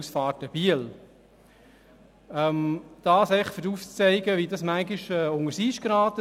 Damit will ich aufzeigen, wie das manchmal unters Eis gerät.